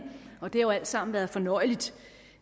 det har jo alt sammen været fornøjeligt